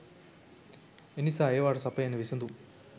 එනිසා ඒවාට සපයන විසඳුම්